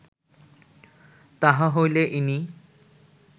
তাহা হইলে ইনি